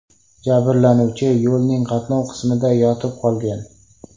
Jabrlanuvchi yo‘lning qatnov qismida yotib qolgan.